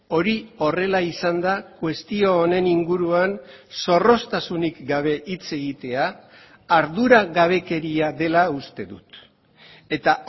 hori horrela izan da kuestio honen inguruan zorroztasunik gabe hitz egitea arduragabekeria dela uste dut eta